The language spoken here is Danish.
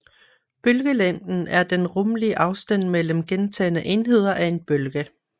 Bølgelængden er den rummelige afstand mellem gentagne enheder af en bølge